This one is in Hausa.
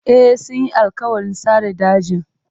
E, sun yi alƙawarin sare dajin.